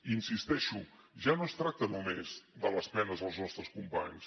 hi insisteixo ja no es tracta només de les penes als nostres companys